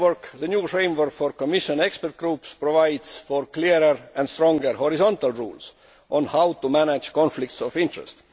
The new framework for Commission expert groups provides for clearer and stronger horizontal rules on how to manage conflicts of interest.